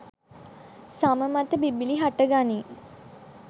සම මත බිබිළි හටගනී.